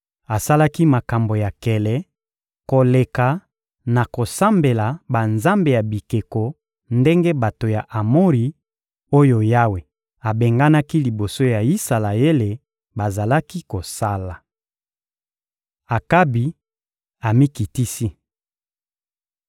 Asalaki makambo ya nkele koleka na kosambela banzambe ya bikeko ndenge bato ya Amori oyo Yawe abenganaki liboso ya Isalaele bazalaki kosala. Akabi amikitisi